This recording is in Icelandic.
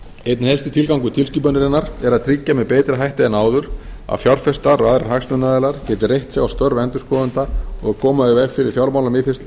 einn helsti tilgangur tilskipunarinnar er að tryggja með betri hætti en áður að fjárfestar og aðrir hagsmunaaðilar geti reitt sig á störf endurskoðenda og að koma í veg fyrir fjármálamisferli